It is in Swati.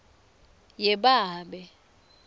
yebabe